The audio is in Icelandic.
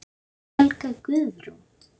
Helga Guðrún.